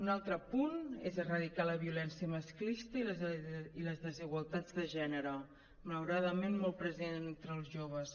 un altre punt és erradicar la violència masclista i les desigualtats de gènere malauradament molt present entre els joves